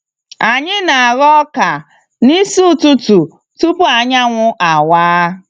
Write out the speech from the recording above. Anyi na aghọ ọka n'isi ụtụtụ tupu anyanwụ awa.